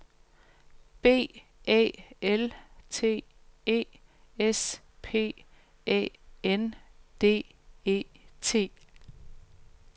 B Æ L T E S P Æ N D E T